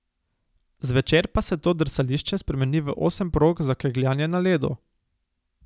Zvečer pa se to drsališče spremeni v osem prog za kegljanje na ledu.